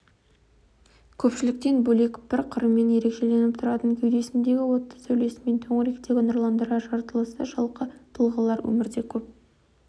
көпшіліктен бөлек бір қырымен ерекшеленіп тұратын кеудесіндегі отты сәулесімен төңіректі нұрландырар жаратылысы жалқы тұлғалар өмірде көп